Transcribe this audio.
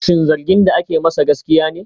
Shin zargin da ake masa gaskiya ne?